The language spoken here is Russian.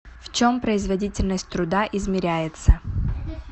в чем производительность труда измеряется